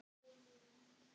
Allt þarf að vinda.